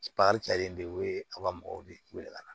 cɛlen bɛ o ye a ka mɔgɔw de wele ka na